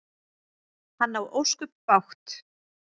Hann á ósköp bágt.